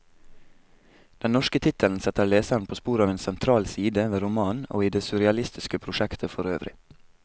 Den norske tittelen setter leseren på sporet av en sentral side ved romanen, og i det surrealistiske prosjektet forøvrig.